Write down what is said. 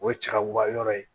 O ye cɛ ka wuguba yɔrɔ ye